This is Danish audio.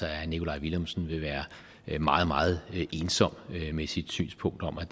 herre nikolaj villumsen være meget meget ensom med sit synspunkt om at